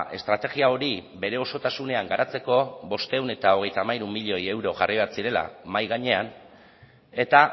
estrategia hori bere osotasunean garatzeko bostehun eta hogeita hamairu milioi euro jarri behar zirela mahai gainean eta